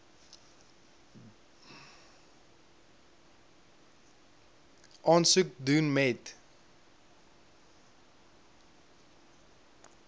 aansoek doen moet